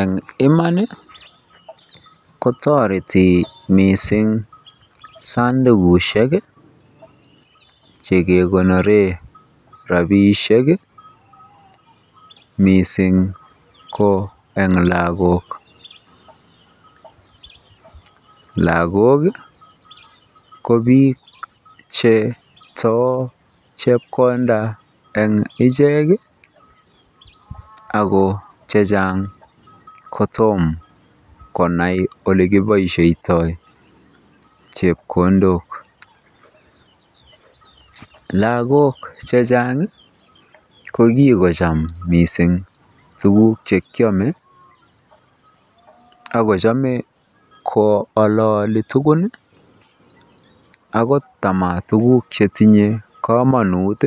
Eng iman kotoreti mising sandukushek chekekonoren rabishek miing ko en lokok, lakok ko biik cheto chepkonda en ichek ak ko chechang kotom konai olekiboishoitoi chepkondok, lakok chechang ko kikocham mising tukuk chekiome ak ko chome ko ololii tukul akot tamo tukuk chetinye koonut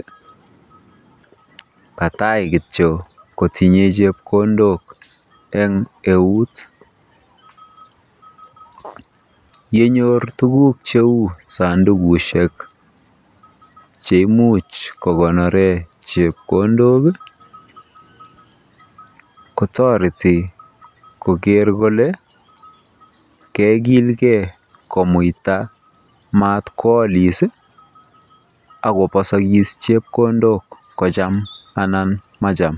katai kitio kotinye chepkondok en euut, yenyor tukuk cheuu sondukushek cheimuch kokonoren chepkondok kotoreti koker kolee kokilke komuita matko olis ak kobosokis chepkondok kocham anan macham.